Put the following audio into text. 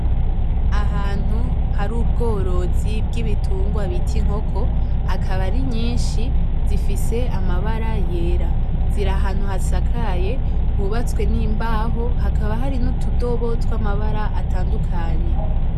Ahantu hari ubworozi bw'ibitungwa bita inkoko akaba ari nyinshi zifise amabara y'era ziri ahantu hasakaye hubatswe n'imbaho hakaba hari n'utudobo tw'amabara atandukanye.